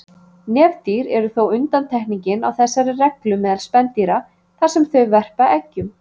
Nefdýr eru þó undantekningin á þessari reglu meðal spendýra þar sem þau verpa eggjum.